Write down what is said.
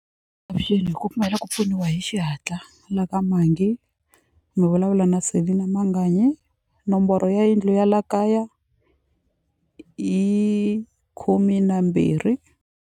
Avuxeni hi ku pfuniwa hi xihatla la ka Mangi mi vulavula na Selina Manganyi nomboro ya yindlu ya la kaya yi khume na mbirhi.